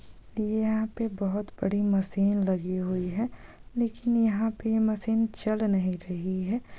यहां पे बहुत बड़ी मशीन लगी हुई है लेकिन यहां पे ये मशीन चल नही रही है।